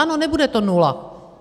Ano, nebude to nula.